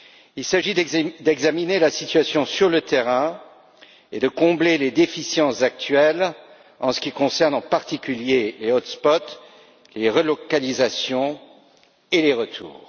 Il s'agit d'examiner la situation sur le terrain et de combler les déficiences actuelles en ce qui concerne en particulier les hotspots les relocalisations et les retours.